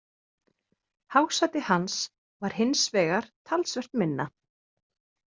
Hásæti hans var hins vegar talsvert minna.